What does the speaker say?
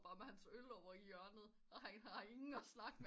Men hans øl over i hjørnet og han har ingen at snakke med